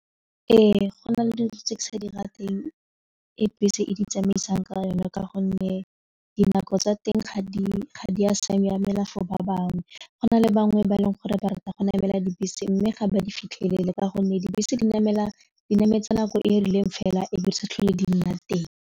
Ee, go na le dilo tse ke sa di ra teng e bese e di tsamaisang ka yona ka gonne dinako tsa teng ga di a siamela fa ba bangwe go na le bangwe ba e leng gore ba rata go namela dibese mme ga ba di fitlhelele ka gonne dibese di nametsa nako e e rileng fela ebe di sa tlhole di nna teng.